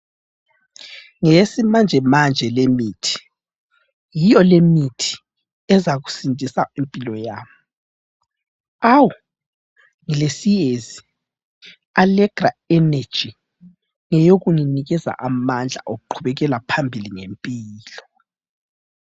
Ngeyesimanje manje le mithi ,yiyo lemithi ezakusindisa impilo yami . Awuu ngilesiyezi allegra energy ngeyokunginikeza amandla okuqhubekela phambili ngempilo